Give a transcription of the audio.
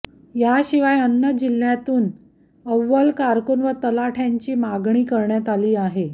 याशिवाय अन्य जिल्ह्यातून अव्वल कारकून व तलाठ्यांचीही मागणी करण्यात आली आहे